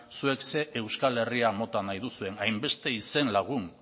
zuek ze euskal herria mota nahi duzuen hainbeste izenlagun